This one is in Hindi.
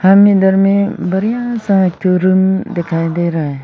इधर में बढ़िया सा एक थो रूम दिखाई दे रहा है।